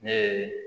Ne ye